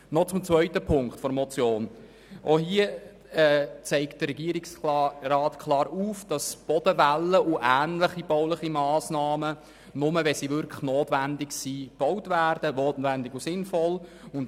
Noch zu Ziffer 2 der Motion: Auch hier zeigt der Regierungsrat klar auf, dass Bodenwellen und ähnliche bauliche Massnahmen nur gebaut werden, wenn sie wirklich notwendig und sinnvoll sind.